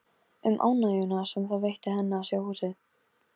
Um ánægjuna sem það veitti henni að sjá húsið.